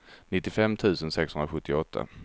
nittiofem tusen sexhundrasjuttioåtta